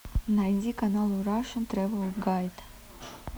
найди канал рашен тревел гайд